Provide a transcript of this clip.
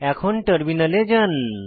এখন টার্মিনালে যান